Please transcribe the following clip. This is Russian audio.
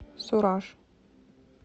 сураж